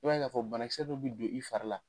I b'a ye k'a fɔ bana kisɛ dɔ bi do i fari la